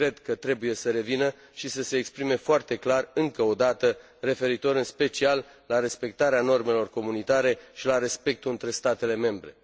Cred că trebuie să revină și să se exprime foarte clar, încă o dată, referitor în special la respectarea normelor comunitare și la respectul între statele membre.